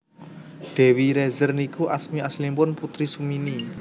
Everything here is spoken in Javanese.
Dewi Rezer niku asmi aslinipun Putri Sumini